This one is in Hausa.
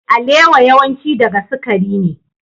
Alewa yawanci daga sukari ne.